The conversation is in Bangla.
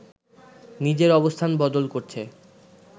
নিজের অবস্থান বদল করছে